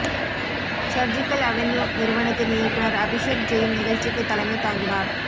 surgical avenue நிறுவனத்தின் இயக்குனர் அபிஷேக் ஜெயின் நிகழ்ச்சிக்கு தலைமை தாங்கினார்